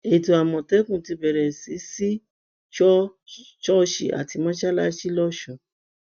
ètò àmọtẹkùn ti bẹrẹ sí sí í sọ ṣọọṣì àti mọsálásì lọsùn